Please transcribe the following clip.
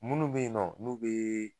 Munnu be yen nɔ, n'u be